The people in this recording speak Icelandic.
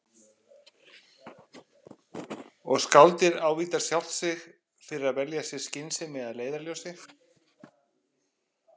Og skáldið ávítar sjálft sig fyrir að velja sér skynsemi að leiðarljósi.